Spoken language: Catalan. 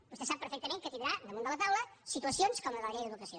vostè sap perfectament que tindrà damunt la taula situacions com la de la llei d’educació